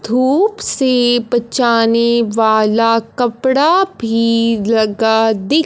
धूप से बचाने वाला कपड़ा भी लगा दि--